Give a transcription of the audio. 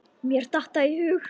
Mér datt það í hug.